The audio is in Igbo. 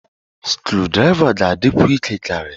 Skrudraịva ga-adịkwu ike karịa.